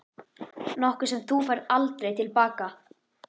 Nokkuð sem þú færð aldrei til baka.